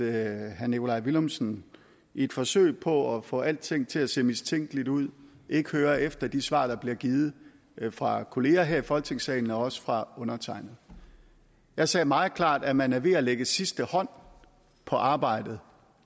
at herre nikolaj villumsen i et forsøg på at få alting til at se mistænkeligt ud ikke hører efter de svar der bliver givet fra kolleger her i folketingssalen og også fra undertegnede jeg sagde meget klart at man er ved at lægge sidste hånd på arbejdet